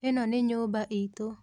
ĩno nĩ nyũmba itũ.